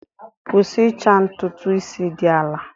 Kwụsị ịcha ntutu isi dị ala!